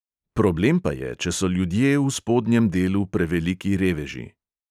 "Problem pa je, če so ljudje v spodnjem delu preveliki reveži."